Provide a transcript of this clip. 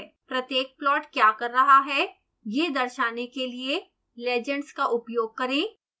प्रत्येक प्लॉट क्या कर रहा है यह दर्शाने के लिए legends का उपयोग करें